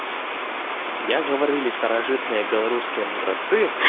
як гаварыли старажытныя беларуския мудрацы